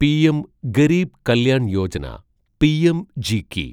PM Garib Kalyan Yojana (പിഎംജിക്കി)